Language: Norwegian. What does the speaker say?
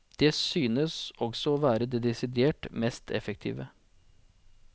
Det synes også å være det desidert mest effektive.